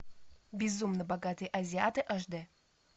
безумно богатые азиаты аш д